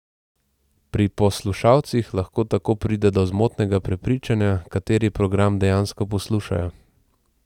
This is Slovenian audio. Pri poslušalcih lahko tako pride do zmotnega prepričanja, kateri program dejansko poslušajo.